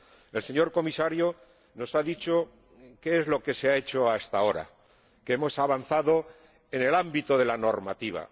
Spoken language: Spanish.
El señor Comisario nos ha dicho qué es lo que se ha hecho hasta ahora que hemos avanzado en el ámbito de la normativa.